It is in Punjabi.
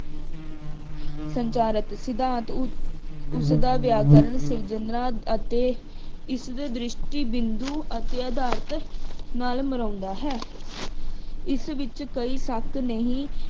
ਸੰਚਾਰਕ ਸਿਧਾਂਤ ਉਸਦਾ ਵਿਆਕਰਨ ਸਿਰਜਨਾ ਅਤੇ ਇਸਦੇ ਦ੍ਰਿਸ਼ਟੀ ਬਿੰਦੂ ਅਤੇ ਅਧਾਰਤ ਨਾਲ ਮਿਲਾਉਂਦਾ ਹੈ। ਇਸ ਵਿੱਚ ਕੋਈ ਸ਼ੱਕ ਨਹੀਂ